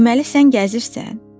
Deməli sən gəzirsən?